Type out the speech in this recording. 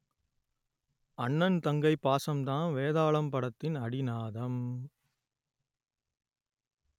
அண்ணன் தங்கை பாசம்தான் வேதாளம் படத்தின் அடிநாதம்